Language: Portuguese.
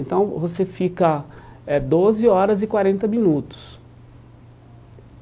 Então você fica eh doze horas e quarenta minutos.